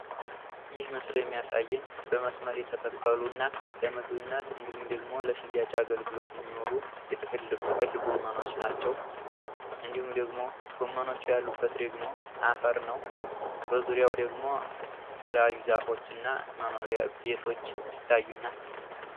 ይህ ምስል የሚያሳየን በመስመር የተተከሉ እና ለምግበነት እንዲሁም ለሽያጭ አገልግሎት የሚውሉ የጥቅል ጎመኖች ናቸው። እንዲሁም ደግሞ ጎመኖቹ ያሉበት ደግሞ አፈር ነው። በዙሪያው ደግሞ የተለያዩ ዛፎች እና መኖሪያ ቤቶች ይታዩናል።